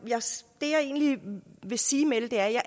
egentlig vil sige med det er at